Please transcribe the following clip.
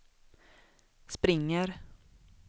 springer